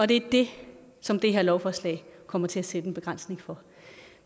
det er det som det her lovforslag kommer til at sætte en begrænsning for